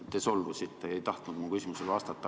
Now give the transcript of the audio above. Te solvusite ega tahtnud mu küsimusele vastata.